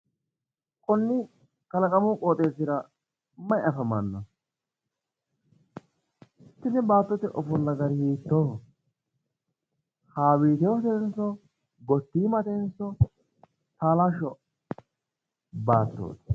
konni kalaqamu qooxeessira mayi afamanno? ,tini baattote ofolla gari hiittooho ?,haawiiteetenso gottiimatenso taalashsho baattooti?